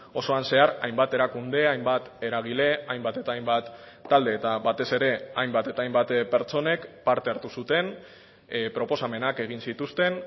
osoan zehar hainbat erakunde hainbat eragile hainbat eta hainbat talde eta batez ere hainbat eta hainbat pertsonek parte hartu zuten proposamenak egin zituzten